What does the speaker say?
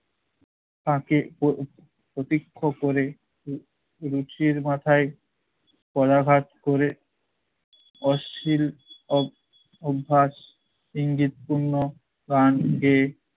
তাকে প~ প্রত্যক্ষ করে উহ রুচির মাথায় পদাঘাত করে অশ্লীল ও অভ্যাস ইঙ্গিত পূর্ণ গান গেয়ে